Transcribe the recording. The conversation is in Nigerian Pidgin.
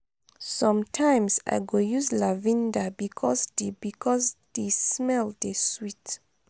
sometimes i go use lavinda bikos di bikos di smell dey sweet.